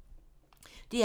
DR P2